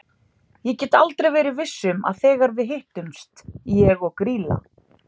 Ég get aldrei verið viss um að þegar við hittumst ég og Grýla.